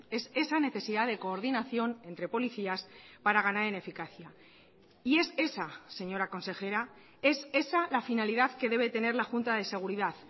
es esa necesidad de coordinación entre policías para ganar en eficacia y es esa señora consejera es esa la finalidad que debe tener la junta de seguridad